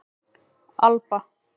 Alba